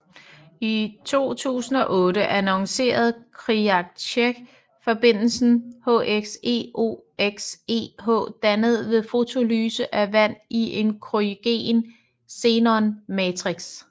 I 2008 annoncerede Khriachtchev forbindelsen HXeOXeH dannet ved fotolyse af vand i en kryogen xenon matrix